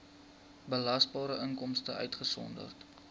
belasbare inkomste uitgesonderd